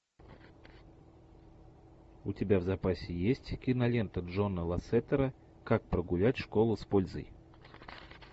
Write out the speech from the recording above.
у тебя в запасе есть кинолента джона лассетера как прогулять школу с пользой